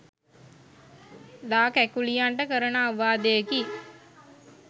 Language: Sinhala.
ලා කැකුලියන්ට කරන අවවාදයකි